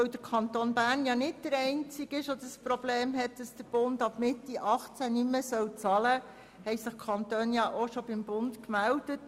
Weil der Kanton Bern nicht als einziger das Problem hat, dass der Bund ab Mitte 2018 nicht mehr bezahlt, haben sich die Kantone bereits beim Bund gemeldet.